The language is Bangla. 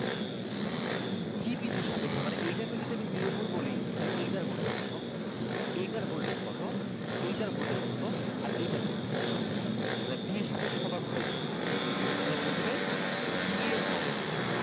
D বিন্দুর সাপেক্ষে মানে আমি এইটাকে যদি zero volt বলি তাহলে এইটার voltage কতো? এইটার voltage কতো? এইটার voltage কতো? আর এইটার voltage কতো? মানে d এর সাপেক্ষে সবার voltage বের করতে বললাম। তাহলে প্রথমে d এর সাপেক্ষে।